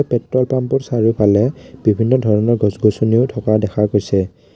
Petrol পাম্পটোৰ চাৰিওফালে বিভিন্ন ধৰণৰ গছ গছনিও থকা দেখা গৈছে।